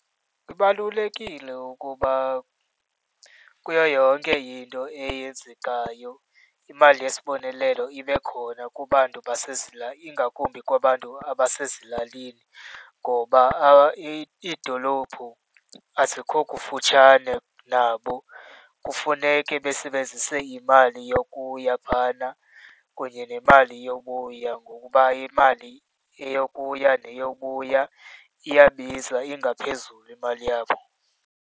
Kubalulekile ukuba kuyo yonke into eyenzekayo imali yesibonelelo ibe khona kubantu ingakumbi kwabantu abasezilalini, ngoba iidolophu azikho kufutshane nabo. Kufuneke besebenzise imali yokuya phana kunye nemali yowubuya ngokuba imali eyokuya neyobuya iyabiza, ingaphezulu emali yabo.